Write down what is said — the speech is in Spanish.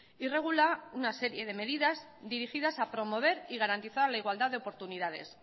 y regula una serie de medidas dirigidas a promover y garantizar la igualdad de oportunidades